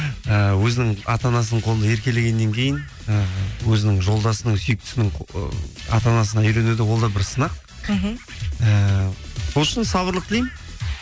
ііі өзінің ата анасының қолында еркелегеннен кейін і өзінің жолдасының сүйіктісінің ата анасына үйрену де ол да бір сынақ мхм ііі сол үшін сабырлық тілеймін